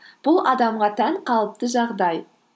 бұл адамға тән қалыпты жағдай